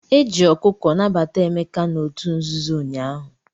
Eji ọkụkọ nabata Emeka n'otu nzuzo ụnyaahụ.